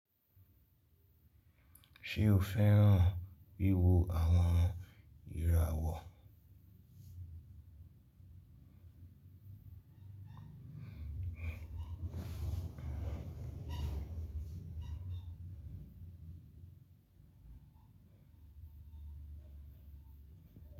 Ṣé o fẹ́ràn wíwo àwọn ìràwọ̀?